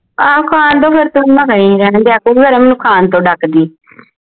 ਆਹੋ ਖਾਣ ਦੋ ਫੇਰ ਮੈਨੂੰ ਖਾਣ ਤੋਂ ਡਕਦੀ ਹੈ